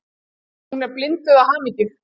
Hún er blinduð af hamingju.